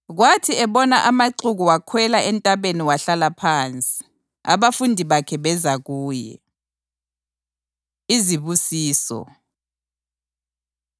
Kwathi ebona amaxuku wakhwela entabeni wahlala phansi. Abafundi bakhe beza kuye. Izibusiso